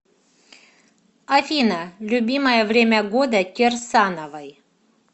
афина любимое время года кирсановой